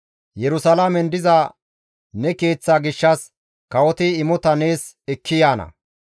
Yerusalaamen diza ne Keeththa gishshas kawoti imota nees ekki yaana.